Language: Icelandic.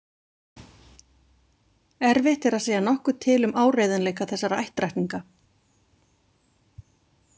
Erfitt er að segja nokkuð til um áreiðanleika þessara ættrakninga.